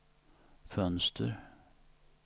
fönster